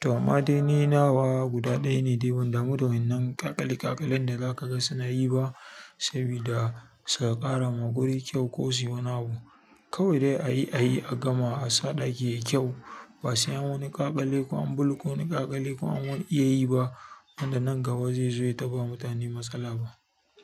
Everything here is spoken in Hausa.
To ma dai ni nawa guda ɗaya ne dai, ban damu da wannan ƙaƙale-ƙakalen da za ka ga suna yi ba sabida su ka ƙara ma guri kyau ko suyi wani abu. Kawai dai a yi, a yi a gama a sa ɗaki yayi kyau. Ba sai an wani ƙaƙali ko an bulko wani ƙaƙali ko an wani iya yi ba wanda nan gaba zai zo ya taɓa mutane matsala ba.